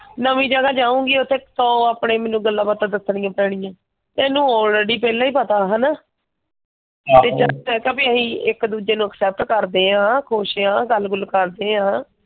ਨਵੀ ਜ਼ਿਆਦਾ ਜਾਊਂਗੀ ਉਥੇ ਤਾਂ ਉਹ ਆਪਣੇ ਮੈਨੂੰ ਗੱਲਾਂ ਬਾਤਾਂ ਮੈਨੂੰ ਦੱਸਣਗੇ। ਤੇ ਇਹਨੂੰ ਆਲਰੇਡੀ ਪਹਿਲਾਂ ਹੀ ਪਤਾ ਆ ਹੈਨਾ? ਤੇ ਚਲ ਤੇਰੇ ਤੋਂ ਵੀ ਇਹੀ ਇੱਕ ਦੂਜੇ accept ਕਰਦੇ ਹਾਂ ਖੁਸ਼ ਆ ਗੱਲ ਗੁਲ ਕਰਦੇ ਹਾਂ।